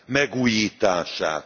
megújítását.